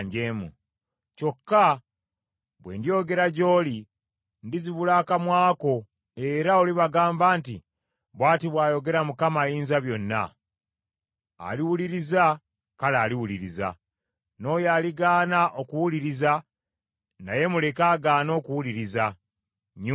Kyokka bwe ndyogera gy’oli, ndizibula akamwa ko era olibagamba nti, ‘Bw’ati bw’ayogera Mukama Ayinzabyonna.’ Aliwuliriza kale aliwuliriza, n’oyo aligaana okuwuliriza naye muleke agaane okuwuliriza; nnyumba njeemu.”